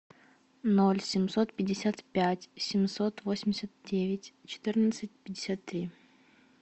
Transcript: ноль семьсот пятьдесят пять семьсот восемьдесят девять четырнадцать пятьдесят три